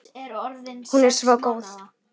Hún er svo góð.